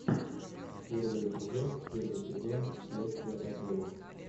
первый эпизод первый сезон следствие по телу